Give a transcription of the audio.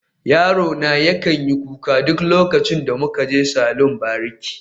Yarona yakan yi kuka duk lokacin da muka je saloni bariki